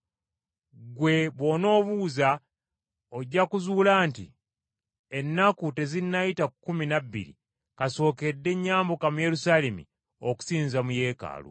Ggwe bw’onoobuuza, ojja kuzuula nti ennaku tezinnayita kkumi na bbiri kasookedde nyambuka mu Yerusaalemi okusinza mu Yeekaalu.